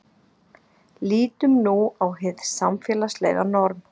lítum nú á hið samfélagslega norm